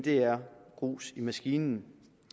er grus i maskineriet